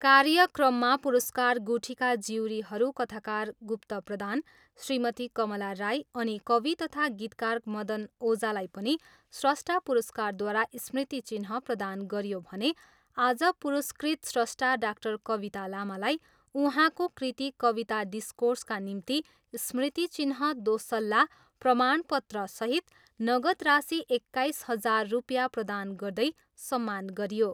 कार्यक्रममा पुरस्कार गुठीका ज्युरीहरू कथाकार गुप्त प्रधान, श्रीमती कमला राई अनि कवि तथा गीतकार मदन ओझालाई पनि स्रष्टा परिवारद्वारा स्मृति चिह्न प्रदान गरियो भने आज पुरस्कृत स्रष्टा डाक्टर कविता लामालाई उहाँको कृति 'कविता डिस्कोर्स'का निम्ति स्मृति चिह्न दोसल्ला, प्रमाण पत्रसहित नगद राशि एक्काइस हजार रुपियाँ प्रदान गर्दै सम्मान गरियो।